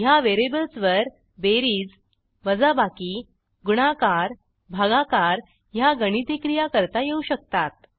ह्या व्हेरिएबल्सवर बेरीज वजाबाकी गुणाकार भागाकार ह्या गणिती क्रिया करता येऊ शकतात